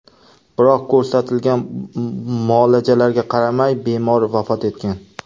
Biroq ko‘rsatilgan muolajalarga qaramay bemor vafot etgan .